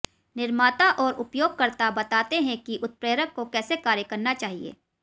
निर्माता और उपयोगकर्ता बताते हैं कि उत्प्रेरक को कैसे कार्य करना चाहिए